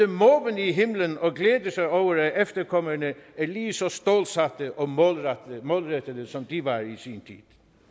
måbende i himlen og glæder sig over at efterkommerne er lige så stålsatte og målrettede som de var i sin tid